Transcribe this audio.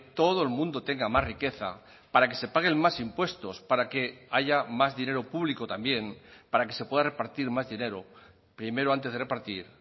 todo el mundo tenga más riqueza para que se paguen más impuestos para que haya más dinero público también para que se pueda repartir más dinero primero antes de repartir